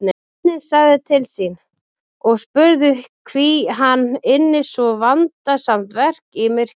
Sveinninn sagði til sín og spurði hví hann ynni svo vandasamt verk í myrkri.